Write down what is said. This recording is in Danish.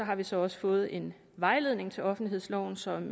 har vi så også fået en vejledning til offentlighedsloven som